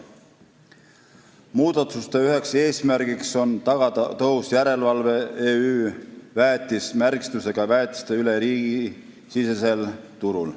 Muudatuste üks eesmärk on tagada tõhus järelevalve "EÜ VÄETIS" märgistusega väetiste üle riigisisesel turul.